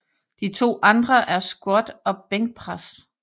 De to andre er squat og bænkpres